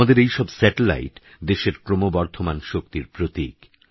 আমাদেরএইসবস্যাটেলাইট দেশেরক্রমবর্ধমানশক্তিরপ্রতীক